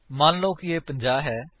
ਮਨ ਲਓ ਕੀ ਇਹ 50 ਹੈ